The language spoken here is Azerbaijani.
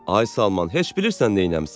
Ay Salman, heç bilirsən neynəmisən?